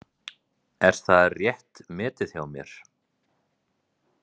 Er það rétt metið hjá mér?